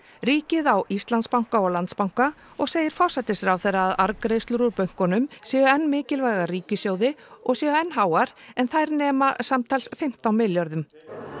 ríkið á Íslandsbanka og Landsbanka og segir forsætisráðherra að arðgreiðslur úr bönkunum séu enn mikilvægar ríkissjóði og séu enn háar en þær nema samtals fimmtán milljörðum